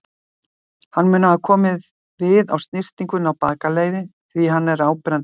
Hann mun hafa komið við á snyrtingunni í bakaleið, því hann er áberandi vatnsgreiddur.